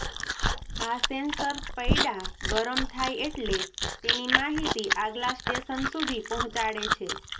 આ સેન્સર પૈડા ગરમ થાય એટલે તેની માહિતી આગલા સ્ટેશન સુધી પહોંચાડે છે